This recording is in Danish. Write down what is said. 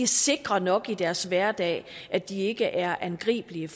sikre nok i deres hverdag og at de ikke er angribelige